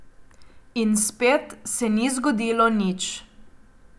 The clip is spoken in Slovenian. In spet se ni zgodilo nič.